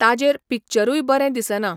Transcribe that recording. ताजेर पिक्चरूय बरें दिसना.